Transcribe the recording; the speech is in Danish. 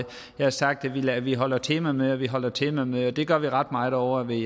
jeg har sagt at vi holder temamøder og vi holder temamøder og det gør vi ret meget ovre ved